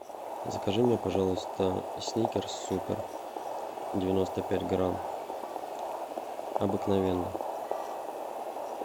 закажи мне пожалуйста сникерс супер девяносто пять грамм обыкновенный